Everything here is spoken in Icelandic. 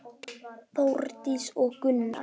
Þórdís og Gunnar.